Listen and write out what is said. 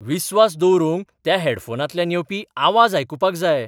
विस्वास दवरूंक त्या हेडफोनांतल्यान येवपी आवाज आयकुपाक जाय.